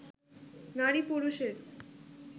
নারী-পুরুষের